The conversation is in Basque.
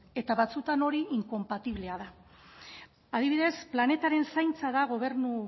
eta batzuetan hori inkonpatiblea da adibidez planetaren zaintza gobernu